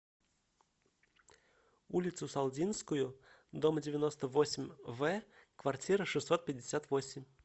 улицу салдинскую дом девяносто восемь в квартира шестьсот пятьдесят восемь